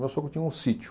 O meu sogro tinha um sítio.